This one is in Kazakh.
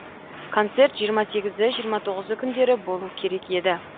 концерт жиырма сегізі жиырма тоғызы күндері болу керек еді